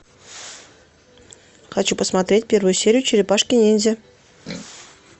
хочу посмотреть первую серию черепашки ниндзя